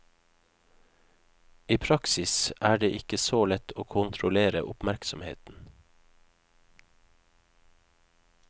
I praksis er det ikke så lett å kontrollere oppmerksomheten.